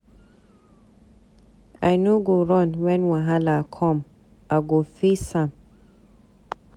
I no go run wen wahala com, I go face am.